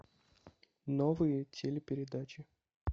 новые телепередачи